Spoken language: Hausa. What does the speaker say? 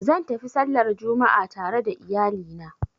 Zan tafi sallar Juma'a tare da iyali na